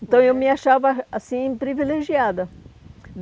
Então, eu me achava, assim, privilegiada.